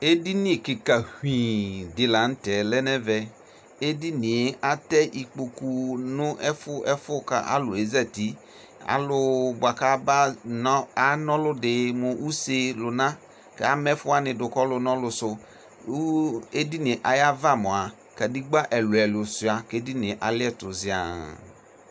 Edini kika huii dila nʋtɛ lɛnʋ ɛvɛ edinie atɛ ikpokʋ nʋ ɛfu ɛfʋ kʋ alʋ ezati alʋ bʋa kʋ ana ɔlʋdi mʋ ʋse lʋna kʋ ama ɛfʋ wani dʋ kʋ ɔlʋ nʋ ɔlʋ sʋ kʋ edinie ayu ava mʋa kadegba ɛlʋ elʋ suia kʋ edinie aliɛtʋ ziaa